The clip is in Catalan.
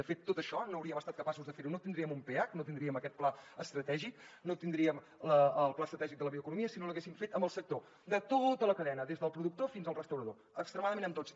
de fet tot això no hauríem estat capaços de fer ho no tindríem un peac no tindríem aquest pla estratègic no tindríem el pla estratègic de la bioeconomia si no l’haguéssim fet amb el sector de tota la cadena des del productor fins al restaurador extremadament amb tots